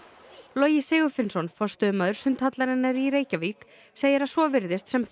Logi Sigurfinnsson forstöðumaður sundhallarinnar í Reykjavík segir að svo virðist sem